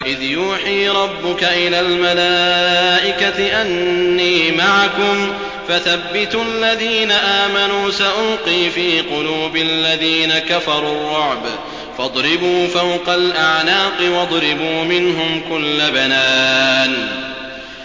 إِذْ يُوحِي رَبُّكَ إِلَى الْمَلَائِكَةِ أَنِّي مَعَكُمْ فَثَبِّتُوا الَّذِينَ آمَنُوا ۚ سَأُلْقِي فِي قُلُوبِ الَّذِينَ كَفَرُوا الرُّعْبَ فَاضْرِبُوا فَوْقَ الْأَعْنَاقِ وَاضْرِبُوا مِنْهُمْ كُلَّ بَنَانٍ